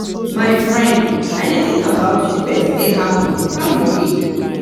my friend i dey think about you wetin dey happen and how you dey?